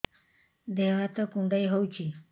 ଦେହ ହାତ କୁଣ୍ଡାଇ ହଉଛି